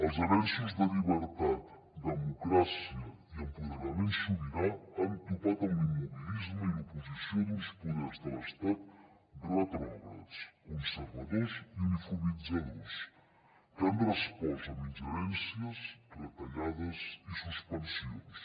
els avenços de llibertat democràcia i empoderament sobirà han topat amb l’immobilisme i l’oposició d’uns poders de l’estat retrògrads conservadors i uniformitzadors que han respost amb ingerències retallades i suspensions